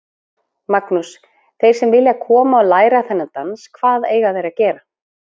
Magnús: Þeir sem vilja koma og læra þennan dans, hvað eiga þeir að gera?